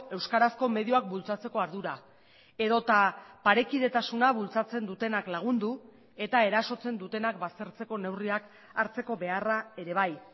euskarazko medioak bultzatzeko ardura edota parekidetasuna bultzatzen dutenak lagundu eta erasotzen dutenak baztertzeko neurriak hartzeko beharra ere bai